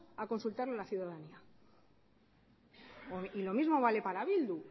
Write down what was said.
a consultarlo a la ciudadanía y lo mismo vale para bildu